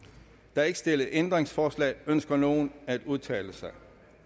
der er ikke stillet ændringsforslag ønsker nogen at udtale sig